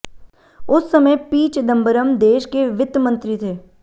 उस समय पी चिदंबरम देश के वित्त मंत्री थे